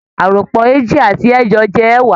Àròpọ̀ eéjì àti ẹẹ́jọ jẹ́ ẹẹ́wàá